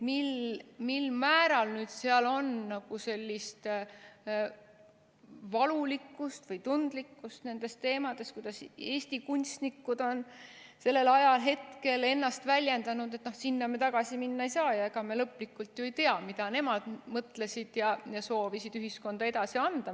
Mil määral nüüd seal on sellist valulikkust või tundlikkust nendes teemades, kuidas Eesti kunstnikud on sellel ajahetkel ennast väljendanud, no sinna me tagasi minna ei saa ja ega me lõplikult ju ei tea, mida nemad mõtlesid ja soovisid ühiskonda edasi anda.